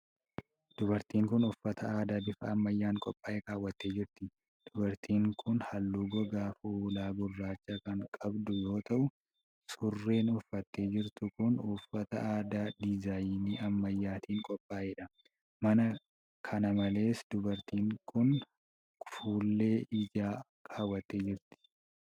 Dubartiin kun uffata aadaa bifa ammayyaan qophaa'e kaawwattee jirti. Dubartiin kun haalluu gogaa fuulaa gurraacha kan qabdu yoo ta'u, surreen uffattee jirtu kun uffata aadaa diizaayinii ammayyaatin qophaa'e dha. Kana malees dubartiin kun fuullee ijaa kaawwattee jirti.